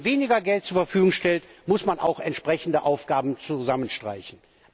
Wenn man weniger Geld zur Verfügung stellt, muss man auch entsprechende Aufgaben zusammenstreichen.